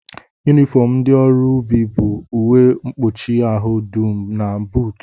Yunifọm ndị ọrụ ubi bụ uwe mkpuchi ahụ dum na buutu